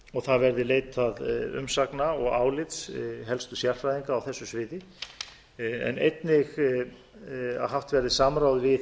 og það verði leitað umsagna og álits helstu sérfræðinga á þessu sviði en einnig að haft verði samráð við